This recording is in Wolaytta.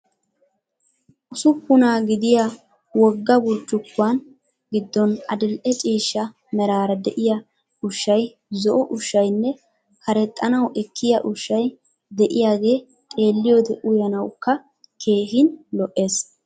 Usuppunaa gidiya wogga burccukkuwan giddooni adil"e ciishsha meraara de'iyaa ushshayi, zo'o ushshayinne karexxanawu ekkiya ushshay de'iyaagee xeelliyoode uyanawukka keehin lo'ees.